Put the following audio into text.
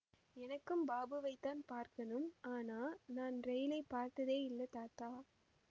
எனக்கும் பாபுவைத்தான் பார்க்கணும் ஆனா நான் ரெயிலைப் பார்த்ததே இல்லே தாத்தா